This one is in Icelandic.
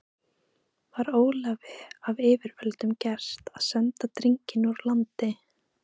Var Ólafi af yfirvöldum gert að senda drenginn úr landi.